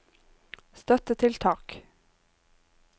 støttetiltak